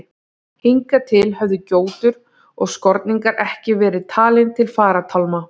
Hingað til höfðu gjótur og skorningar ekki verið talin til farartálma.